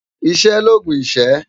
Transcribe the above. Iṣè lógún iṣë